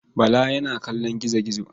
Bala yana kallon gizo-gizo.